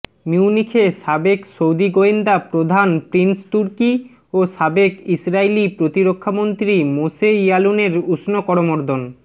মিউনিখে সাবেক সৌদি গোয়েন্দা প্রধান প্রিন্স তুর্কি ও সাবেক ইসরাইলি প্রতিরক্ষামন্ত্রী মোশে ইয়ালুনের উষ্ণ করমর্দন